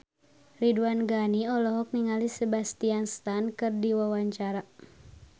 Ridwan Ghani olohok ningali Sebastian Stan keur diwawancara